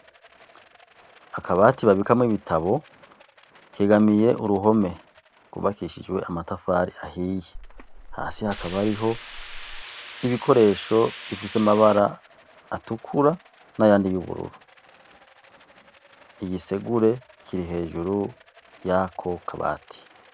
Akabati babikamwo ibitabo kegamiye uruhome rw'ubakishijwe amatafari ahiye. Hasi hakaba hariho ibikoresho bifise amabara atukura n'ayandi y'ubururu. Igisegure kiri hejuru y'ako kabati.